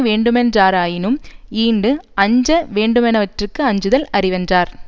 வேண்டு மென்றாராயினும் ஈண்டு அஞ்ச வேண்டுவனவற்றிற்கு அஞ்சுதல் அறிவென்றார்